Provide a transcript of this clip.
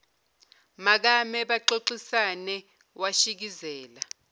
makame baxoxisane washikizela